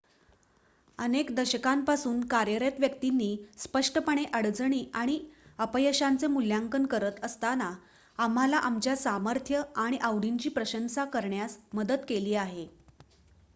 अनेक दशकांपासून कार्यरत व्यक्तींनी स्पष्टपणे अडचणी आणि अपयशांचे मूल्यांकन करत असताना आम्हाला आमच्या सामर्थ्य आणि आवडींची प्रशंसा करण्यास मदत केली आहे